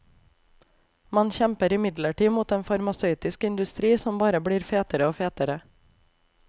Man kjemper imidlertid mot en farmasøytisk industri som bare blir fetere og fetere.